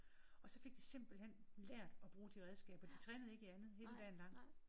Og så fik de simpelthen lært at bruge de redskaber. De trænede ikke i andet hele dagen lang